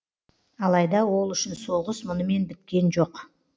алайда ол үшін соғыс мұнымен біткен жоқ